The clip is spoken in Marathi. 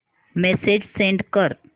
मेसेज सेंड कर